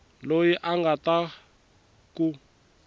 loyi a nga ta ku